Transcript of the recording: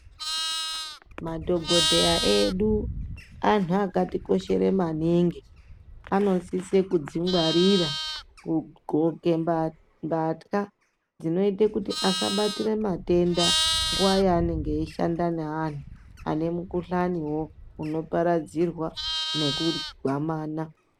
Madhokodheya edu antu akatikoshere maningi anosise kudzingwarira kudxoke mbatya dzinoite kuti asabate matenda nguwa yaanenge eishanda neantu ane mukuhlani unoparadzirwa nekugwamana.